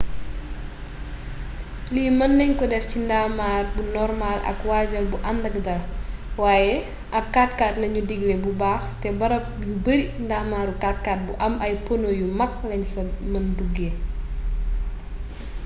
lii mën nañ ko def ci ab ndaamar bu normaal ak waajal bu àndak dàl waaye ab 4x4 lañu digle bu baax te barab yu bari ndaamaru 4x4 bu am ay pono yu mag lañ fa mëna duggee